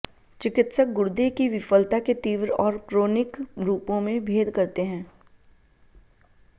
चिकित्सक गुर्दे की विफलता के तीव्र और क्रोनिक रूपों में भेद करते हैं